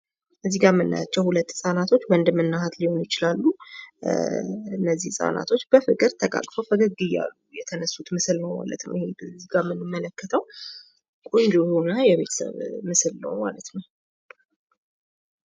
እዚህ ላይ የምናያቸው ሁለት ህጻናቶች ወንድምና እህት ሊሆኑ ይችላሉ። እነዚህ ህጻናቶች በፍቅር ተቃቅፈው ፈገግ እያሉ የተነሱት ምስል ነው ማለት ነው እዚጋ እንመለከተው ቆንጆ የሆነ የቤተሰብ ምስል ነው ማለት ነው።